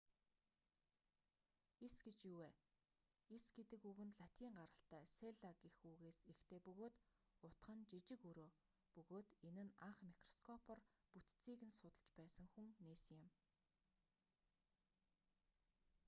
эс гэж юу вэ эс гэдэг үг нь латин гаралтай селла гэх үгээс эхтэй бөгөөд утга нь жижиг өрөө бөгөөд энэ нь анх микроскопоор бүтцийг нь судлаж байсан хүн нээсэн юм